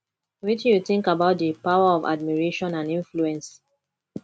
wetin you think about di power of admiration and influence